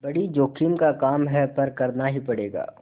बड़ी जोखिम का काम है पर करना ही पड़ेगा